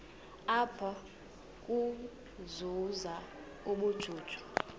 apha ukuzuza ubujuju